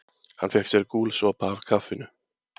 Hann fékk sér gúlsopa af kaffinu